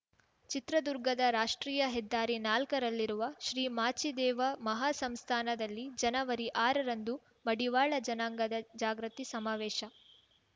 ಚಿತ್ರದುರ್ಗದ ರಾಷ್ಟ್ರೀಯ ಹೆದ್ದಾರಿನಾಲ್ಕರಲ್ಲಿರುವ ಶ್ರೀ ಮಾಚಿದೇವ ಮಹಾ ಸಂಸ್ಥಾನದಲ್ಲಿ ಜನವರಿಆರರಂದು ಮಡಿವಾಳ ಜನಾಂಗದ ಜಾಗೃತಿ ಸಮಾವೇಶ